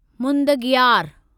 मुदंगियार